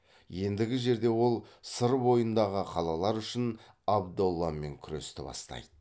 ендігі жерде ол сыр бойындағы қалалар үшін абдолламен күресті бастайды